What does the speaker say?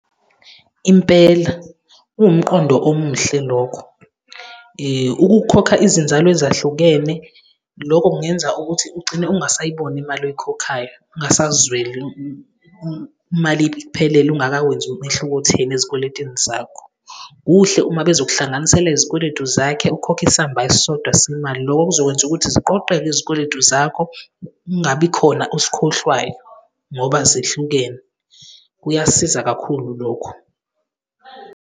Impela kuwumqondo omuhle lokho. Ukukhokha izinzalo ezahlukene, loko kungenza ukuthi ugcine ungasayiboni imali oyikhokhayo, kungasazweli imali iphelele ungakawenzi umehluko otheni ezikweletini zakho. Kuhle uma bezokuhlanganisela izikweletu zakhe, ukhokhe isamba esisodwa semali. Loko kuzokwenza ukuthi ziqoqeke izikweletu zakho, kungabikhona osikhohlwayo ngoba zehlukene. Kuyasiza kakhulu lokho.